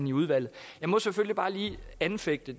i udvalget jeg må selvfølgelig bare lige anfægte